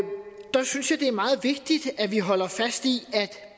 der synes jeg det er meget vigtigt at vi holder fast i at